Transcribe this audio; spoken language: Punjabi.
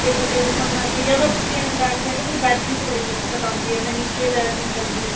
ਗੋਡੇ ਗੁੱਡੇ ਦੁਖਣ ਲੱਗਗੇ ਜਾਂ ਤਾਂ back pain ਤੋਂ ਮੈਨੂੰ ਬੈਠਣ ਚ ਬੜੀ ਦਿੱਕਤ ਆਂਦੀ ਏ ਮੈਂ ਨੀਚੇ ਬੈਠ ਨਹੀਂ ਸਕਦੀ